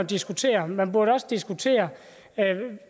diskutere man burde også diskutere